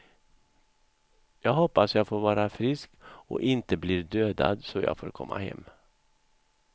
Jag hoppas jag får vara frisk och inte blir dödad så jag får komma hem.